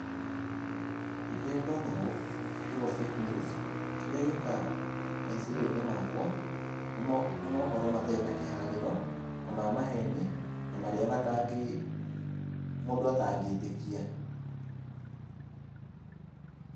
Rĩrĩa ndona ũũ kiugo fake news kĩrĩa gĩũkaga meciria-inĩ makwa nĩ mohoro matarĩ na kĩharĩro na ma maheni na marĩa matangĩ, mũndũ atangĩtĩkia.